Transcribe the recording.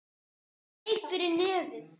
Hún greip fyrir nefið.